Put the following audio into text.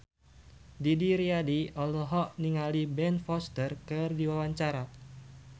Didi Riyadi olohok ningali Ben Foster keur diwawancara